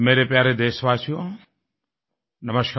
मेरे प्यारे देशवासियो नमस्कार